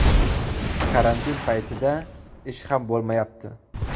Karantin paytida ish ham bo‘lmayapti.